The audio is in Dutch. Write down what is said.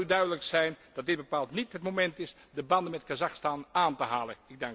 Het zal u duidelijk zijn dat dit bepaald niet het moment is de banden met Kazachstan aan te halen.